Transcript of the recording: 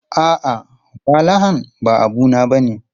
A'a, walahan ba abu na bane.